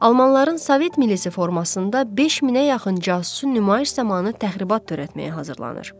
Almanların sovet milisi formasında 5 minə yaxın casusun nümayiş zamanı təxribat törətməyə hazırlanır.